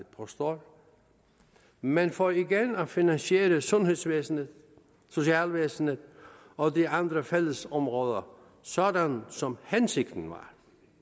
påstået men for igen at finansiere sundhedsvæsenet socialvæsenet og de andre fællesområder sådan som hensigten var